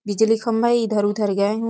बिजली खम है इधर-उधर गए हैं।